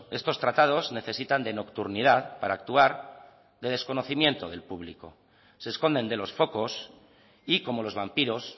estos tratados necesitan de nocturnidad para actuar de desconocimiento del público se esconden de los focos y como los vampiros